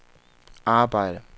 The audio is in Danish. arbejde